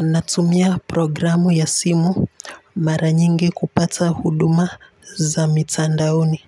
Natumia programu ya simu mara nyingi kupata huduma za mitandaoni.